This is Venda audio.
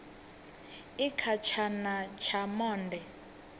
i kha tshana tsha monde